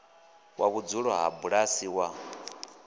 wa vhudzulo ha bulasi wa